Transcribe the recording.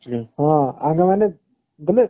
ହଁ ଆମେ ମାନେ ବୋଇଲେ